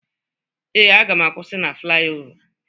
Ee, aga m akwụsị na flayova